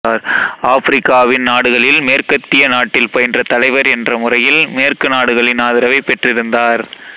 ஆபிரிக்காவின் நாடுகளில் மேற்கத்திய நாட்டில் பயின்ற தலைவர் என்றமுறையில் மேற்கு நாடுகளின் ஆதரவைப் பெற்றிருந்தார்